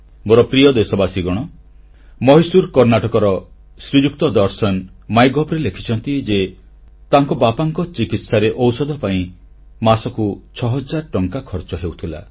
ମୋର ପ୍ରିୟ ଦେଶବାସୀଗଣ ମହୀଶୁର କର୍ଣ୍ଣାଟକର ଶ୍ରୀଯୁକ୍ତ ଦର୍ଶନ ମାଇଗଭ୍ ରେ ଲେଖିଛନ୍ତି ଯେ ତାଙ୍କ ବାପାଙ୍କ ଚିକିତ୍ସାରେ ଔଷଧ ପାଇଁ ମାସକୁ 6 ହଜାର ଟଙ୍କା ଖର୍ଚ୍ଚ ହେଉଥିଲା